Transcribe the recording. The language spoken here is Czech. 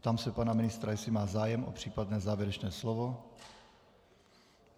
Ptám se pana ministra, jestli má zájem o případné závěrečné slovo.